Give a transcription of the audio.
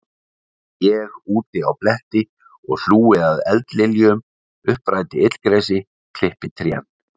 Ég úti á bletti og hlúi að eldliljum, uppræti illgresi, klippi trén.